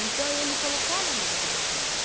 Então, eu me colocava no lugar deles.